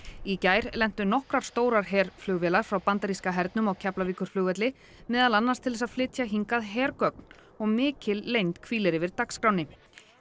í gær lentu nokkrar stórar herflugvélar frá bandaríska hernum á Keflavíkurflugvelli meðal annars til að flytja hingað hergögn og mikil leynd hvílir yfir dagskránni